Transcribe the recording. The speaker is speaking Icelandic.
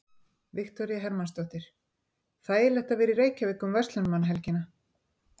Viktoría Hermannsdóttir: Þægilegt að vera í Reykjavík um verslunarmannahelgina?